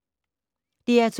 DR2